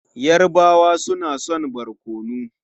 Yarabawa suna son barkono.